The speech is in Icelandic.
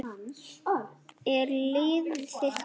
Er liðið þitt klárt?